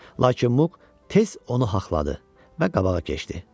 Lakin Muq tez onu haqladı və qabağa keçdi.